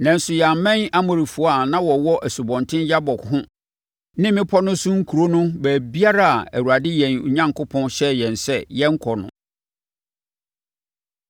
Nanso, yɛammɛn Amorifoɔ a na wɔwɔ Asubɔnten Yabok ho ne mmepɔ no so nkuro no baabiara a Awurade yɛn Onyankopɔn hyɛɛ yɛn sɛ yɛnnkɔ no.